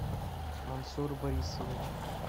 мансур борисович